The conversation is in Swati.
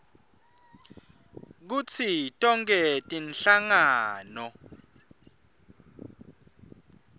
kutsi tonkhe tinhlangano